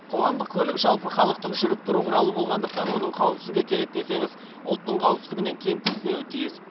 қоғамдық көлік жалпыхалықтық жүріп тұру құралы болғандықтан оның қауіпсіздігі керек десеңіз ұлттың қауіпсіздігінен кем түспеуі тиіс